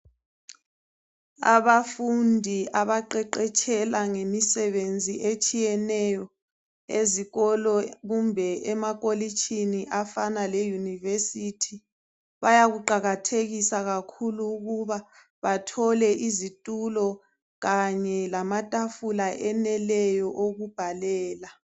Abafundi abaqeqetshela ngemisebenzi etshiyeneyo ezikolo kumbe emakolitshini afana le university bayakuqakathekisa kakhulu ukuba bathole izitulo kanye lamatafula eneleyo okubhalela